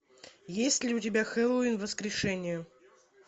есть ли у тебя хэллоуин воскрешение